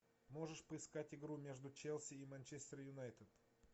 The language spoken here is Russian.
можешь поискать игру между челси и манчестер юнайтед